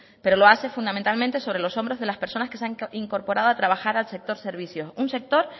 pero lo hace fundamentalmente sobre los hombros de las personas que se han incorporado a trabajar al sector servicios un sector